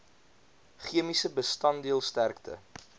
chemiese bestanddeel sterkte